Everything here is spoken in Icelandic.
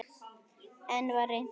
Enn var reynt.